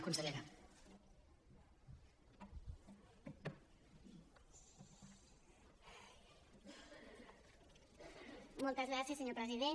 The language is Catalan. moltes gràcies senyor president